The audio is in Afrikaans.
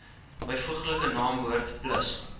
byvoeglike naamwoord plus